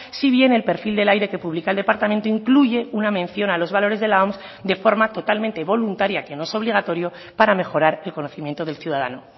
si bien el perfil del aire que publica el departamento incluye una mención a los valores de la oms de forma totalmente voluntaria que no es obligatorio para mejorar el conocimiento del ciudadano